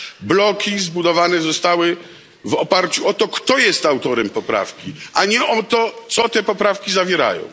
Bloki zbudowane zostały w oparciu o to, kto jest autorem poprawki, a nie o to, co te poprawki zawierają.